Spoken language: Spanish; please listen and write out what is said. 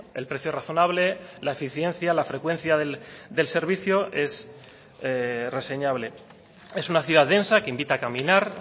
el precio razonable la eficiencia la frecuencia del servicio es reseñable es una ciudad densa que invita a caminar